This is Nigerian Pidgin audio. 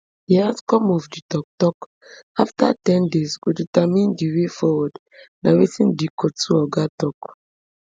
di outcome of di toktok afta ten days go determine di way forward na wetin di cotu oga tok